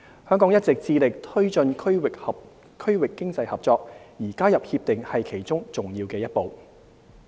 香港一直致力推進區域經濟合作，而加入《協定》是其中重要一步。